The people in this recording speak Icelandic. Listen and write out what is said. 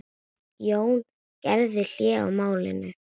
Jón gerði hlé á málinu.